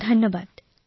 ধন্যবাদ মহোদয়